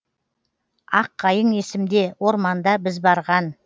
аққайың есімде орманда біз барған